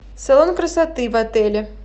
салон красоты в отеле